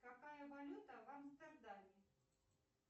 какая валюта в амстердаме